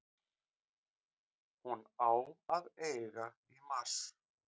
Hún á að eiga í mars.